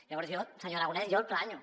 llavors jo senyor aragonès jo el planyo